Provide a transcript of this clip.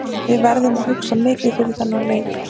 Við verðum að hugsa mikið fyrir þann leik.